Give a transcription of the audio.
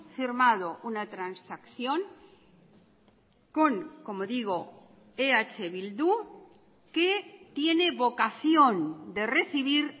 firmado una transacción con como digo eh bildu que tiene vocación de recibir